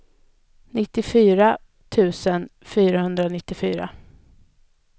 nittiofyra tusen fyrahundranittiofyra